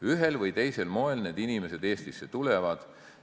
Ühel või teisel moel need inimesed Eestisse tulevad.